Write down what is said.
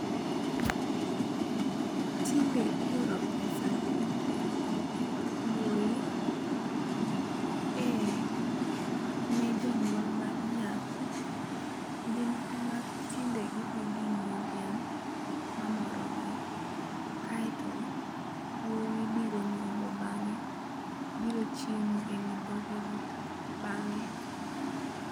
Tinde ioro pesa gi wuoyi e ne jonyuol mar nyako gin e ma tinde gi dhi gi ng'iewo dhiang' ma moro gi kaito wuoyi biro nyombo bang'e biro chiemo e wi dhoge go bang'e.